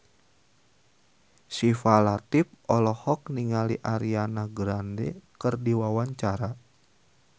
Syifa Latief olohok ningali Ariana Grande keur diwawancara